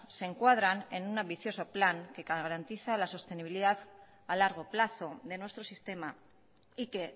se encuadran en un ambicioso plan que garantiza la sostenibilidad a largo plazo de nuestro sistema y que